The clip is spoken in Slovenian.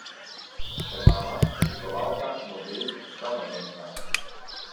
Ste mama, oblikovalka, model, poslovna ženska ...